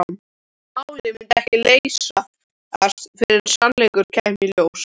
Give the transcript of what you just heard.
Málið myndi ekki leysast fyrr en sannleikurinn kæmi í ljós.